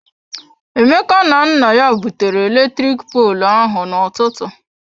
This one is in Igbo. Emeka na nna ya butere eletrik poolụ ahụ na-ụtụtụ.